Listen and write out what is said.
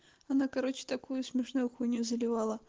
она короче такую смешную хуйню заливала